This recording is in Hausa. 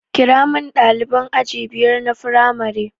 Kiramin ɗaliban aji biyar na firamare